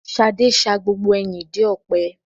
Ṣadé sa gbogbo ẹyin ìdí ọ̀pẹ.